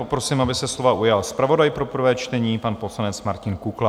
Poprosím, aby se slova ujal zpravodaj pro prvé čtení, pan poslanec Martin Kukla.